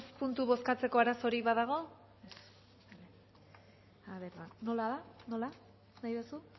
puntu bozkatzeko arazorik badago nola nahi duzu